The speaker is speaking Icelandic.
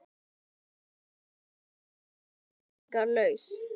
Guð, hvað Lúna getur stundum verið skilningslaus.